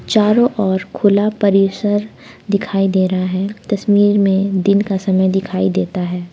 चारों ओर खुला परिसर दिखाई दे रहा है तस्वीर में दिन का समय दिखाई देता है।